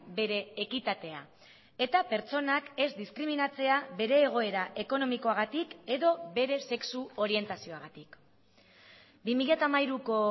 bere ekitatea eta pertsonak ez diskriminatzea bere egoera ekonomikoagatik edo bere sexu orientazioagatik bi mila hamairuko